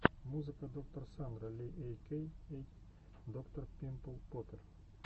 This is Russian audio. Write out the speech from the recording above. музыка доктор сандра ли эй кей эй доктор пимпл поппер